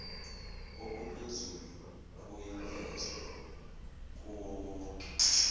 okuphezulu kuyavezwa kuwowonke